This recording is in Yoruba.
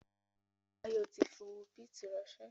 Báyọ̀ tí fi owó bìtì ránsẹ́